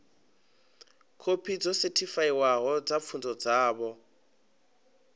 khophi dzo sethifaiwaho dza pfunzo dzavho